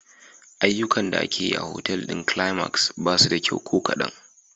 Ayyukan da ake yi a otal ɗin Climax ba su da kyau ko kadan.